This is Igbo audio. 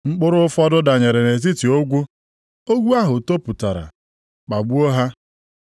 Mkpụrụ ụfọdụ danyere nʼetiti ogwu, ogwu ahụ topụtara kpagbuo ha.